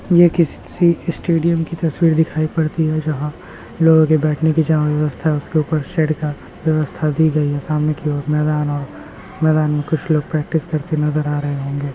ये किसी स्टेडियम की तस्वीर दिखाई पड़ती है जहाँ लोगों के बैठने की जहाँ व्यवस्था है उसके ऊपर शेड का व्यवस्था दी गयी है सामने की ओर मैदान और मैदान में कुछ लोग प्रैक्टिस करते नजर आ रहे होंगे।